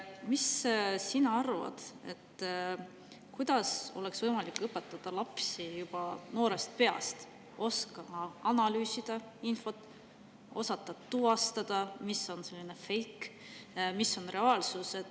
Mis sina arvad, kuidas oleks võimalik õpetada inimesi juba noorest peast, et nad oskaksid analüüsida infot ja tuvastada, mis on feik ja mis on reaalsus?